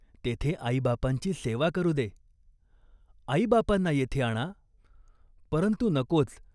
तेथे आईबापांची सेवा करू दे." "आईबापांना येथे आणा" "परंतु नकोच.